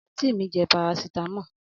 anti mi je paracetamol.